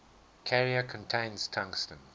carrier contains tungsten